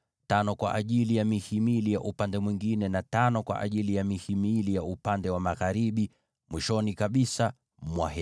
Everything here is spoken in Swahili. matano kwa ajili ya mihimili ya upande mwingine, na matano kwa ajili ya mihimili ya upande wa magharibi, mwisho kabisa mwa maskani.